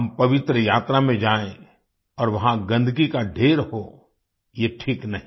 हम पवित्र यात्रा में जायें और वहां गन्दगी का ढ़ेर हो ये ठीक नहीं